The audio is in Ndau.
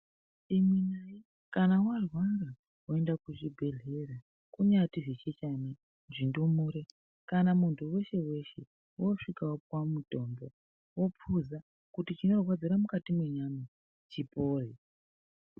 Kana warwara woende kuzvibhedhlera kunyati zvichechana, zvindumure kana muntu weshe weshe wosvika wopuwe mutombo, wopuza kuti chinorwadzira mukati mwenyama chipore.